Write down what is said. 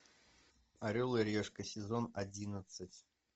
орел и решка сезон одиннадцать